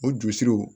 O jurusiriw